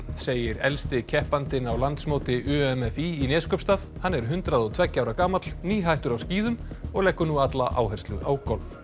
segir elsti keppandinn á landsmóti u m f í Neskaupstað hann er hundrað og tveggja ára gamall nýhættur á skíðum og leggur nú alla áherslu á golf